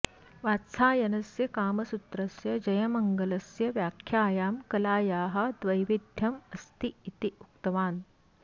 वात्सायनस्य कामसूत्रस्य जयमङ्गलस्य व्याख्यायां कलायाः द्वैविध्यम् अस्ति इति उक्तवान्